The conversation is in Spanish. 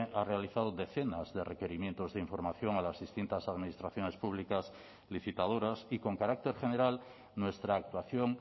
ha realizado decenas de requerimientos de información a las distintas administraciones públicas licitadoras y con carácter general nuestra actuación